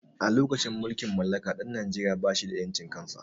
A lokacin mulkin mallaka ɗan najeria ba shi da ƴancin kan sa